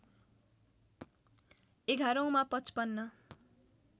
एघारौँमा ५५